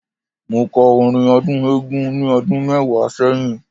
Mo kọ́ orin ọdún Eégún ni ọdún mẹ́wàá sẹ́yìn.